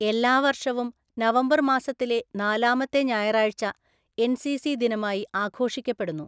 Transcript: എല്ലാ വര്‍ഷവും നവംബര്‍ മാസത്തിലെ നാലാമത്തെ ഞായറായഴ്ച എന്‍.സി.സി. ദിനമായി ആഘോഷിക്കപ്പെടുന്നു.